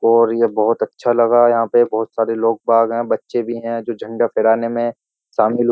और ये बोहोत अच्छा लगा। यहाँ पे बोहोत सारे लोग बाग हैं बच्चे भी हैं जो झण्डा फहराने में शामिल हु --